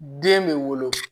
Den bɛ wolo